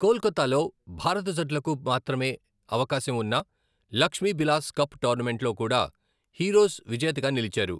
కోల్కతాలో, భారత జట్లకు మాత్రమే అవకాశం ఉన్న లక్ష్మీబిలాస్ కప్ టోర్నమెంట్లో కూడా హీరోస్ విజేతగా నిలిచారు.